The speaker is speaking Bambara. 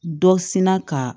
Dɔ sina ka